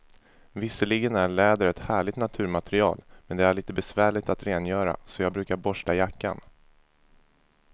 Visserligen är läder ett härligt naturmaterial, men det är lite besvärligt att rengöra, så jag brukar borsta jackan.